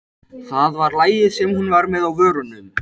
Það var lagið sem hún var með á vörunum.